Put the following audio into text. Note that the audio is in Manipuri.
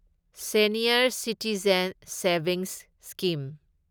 senior citizen savings scheme